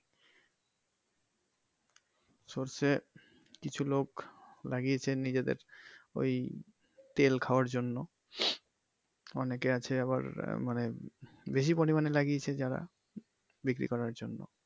সরষে কিছু লোক লাগিয়েছে নিজেদের ওই তেল খাওয়ার জন্য অনেকে আছে আবার আহ মানে বেশি পরিমাণে লাগিয়েছে যারা বিক্রি করার জন্য।